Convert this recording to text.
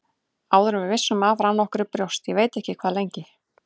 Áður en við vissum af rann okkur í brjóst, ég veit ekki hvað lengi.